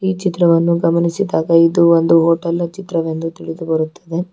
ಚಿತ್ರವನ್ನು ಗಮನಿಸಿದಾಗ ಇದು ಒಂದು ಹೋಟೆಲ್ನ ಚಿತ್ರವೆಂದು ತಿಳಿದು ಬರುತ್ತದೆ.